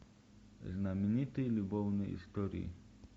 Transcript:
знаменитые любовные истории